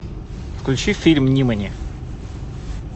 включи фильм нимани